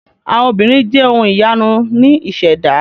Àwọn obìnrin jẹ́ ohun ìyanu ní ìṣẹ̀dá.